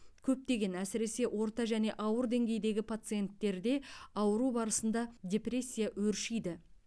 көптеген әсіресе орта және ауыр деңгейдегі пациенттерде ауыру барысында депрессия өршиді